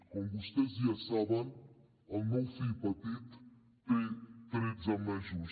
com vostès ja saben el meu fill petit té tretze mesos